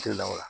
Te la o la